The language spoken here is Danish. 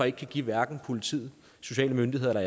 ikke give hverken politiet sociale myndigheder eller